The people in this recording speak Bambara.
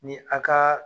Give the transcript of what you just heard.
Ni a ka